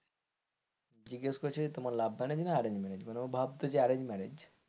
জিজ্ঞাসা করছে তোমার love marriage না arranged marriage মানে ও ভাবতো arranged marriage,